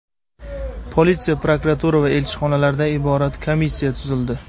Politsiya, prokuratura va elchixonalardan iborat komissiya tuzildi.